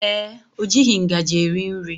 Ee, o jighị ngaji eri nri